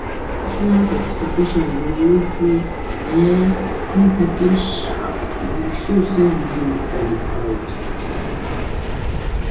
Professional certification go make your um CV dey sharp, e go show say you dey qualified.